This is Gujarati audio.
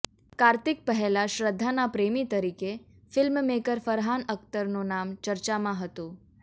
કાર્તિક પહેલાં શ્રદ્ધાના પ્રેમીતરીકે ફિલ્મમેકર ફરહાન અખ્તરનું નામ ચર્ચામાં હતું